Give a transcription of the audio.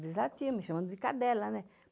latiam me chamando de cadela, né?